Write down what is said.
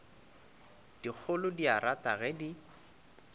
dikgolo di irata ge di